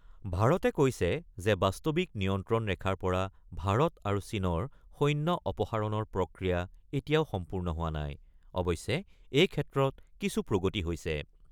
ভাৰতে কৈছে যে বাস্তৱিক নিয়ন্ত্ৰণ ৰেখাৰ পৰা ভাৰত আৰু চীনৰ সৈন্য অপসাৰণ প্ৰক্ৰিয়া এতিয়া সম্পূৰ্ণ হোৱা নাই। অৱশ্যে এই ক্ষেত্ৰত কিছু প্ৰগতি হৈছে।